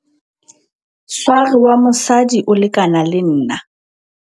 sware wa mosadi o lekana le nna